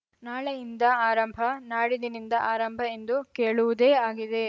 ನಾಳೆಯಿಂದ ಆರಂಭನಾಡಿದ್ದಿನಿಂದ ಆರಂಭ ಎಂದು ಕೇಳುವುದೇ ಆಗಿದೆ